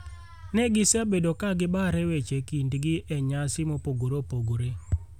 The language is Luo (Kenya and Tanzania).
ne gisebedo ka gibare weche e kindgi e nyasi mopogore opogore.